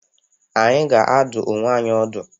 Anyị ga-adụ onwe anyị ọdụ.